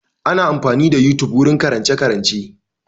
Ana amfani da yotube wurin karance-karance.